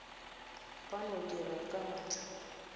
ba no dira ka maatla